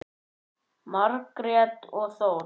Margrét og Þór.